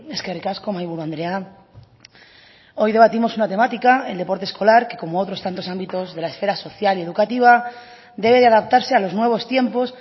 eskerrik asko mahaiburu andrea hoy debatimos una temática el deporte escolar que como tantos otros ámbitos de la esfera social y educativa debe de adaptarse a los nuevos tiempos